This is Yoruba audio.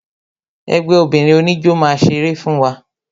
Ẹgbẹ́ obìnrin oníjó máa ṣeré fún wa